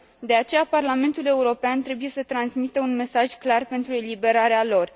De aceea, Parlamentul European trebuie să transmită un mesaj clar pentru eliberarea lor.